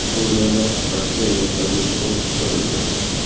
Suriyada Rossiya vertolyoti urib tushirildi.